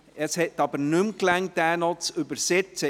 Es hat nicht mehr gereicht, diesen noch zu übersetzen.